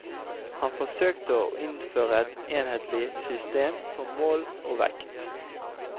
Han forsøkte å innføre et enhetlig system for mål og vekt.